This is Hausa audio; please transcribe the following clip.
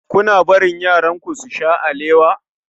Kuna barin yaranku su sha alewa?